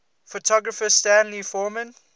photographer stanley forman